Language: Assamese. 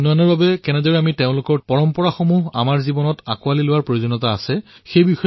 বহনক্ষম উন্নয়নৰ বাবে কিদৰে তেওঁলোকৰ পৰম্পৰাক আমি নিজৰ জীৱনত প্ৰয়োগ কৰিব লাগে তেওঁলোকৰ পৰা কি কি শিকিব লাগে